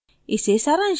इसे सारांशित करते हैं